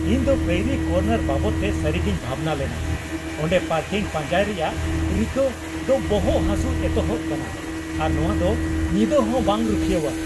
ᱤᱧᱫᱚ ᱯᱮᱭᱨᱤ ᱠᱚᱨᱱᱟᱨ ᱵᱟᱵᱚᱫᱛᱮ ᱥᱟᱹᱨᱤᱜᱮᱧ ᱵᱷᱟᱵᱽᱱᱟ ᱞᱮᱱᱟ ᱾ ᱚᱸᱰᱮ ᱯᱟᱨᱠᱤᱝ ᱯᱟᱧᱡᱟᱭ ᱨᱮᱭᱟᱜ ᱨᱤᱠᱟᱹ ᱫᱚᱵᱚᱦᱚᱜ ᱦᱟᱹᱥᱩ ᱮᱛᱚᱦᱚᱵ ᱠᱟᱱᱟ, ᱟᱨ ᱱᱚᱶᱟᱫᱚ ᱧᱤᱫᱟᱹᱦᱚᱸ ᱵᱟᱝ ᱨᱩᱠᱷᱤᱭᱟᱹᱣᱟ ᱾